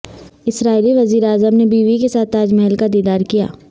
اسرائیلی وزیراعظم نے بیوی کے ساتھ تاج محل کا دیدار کیا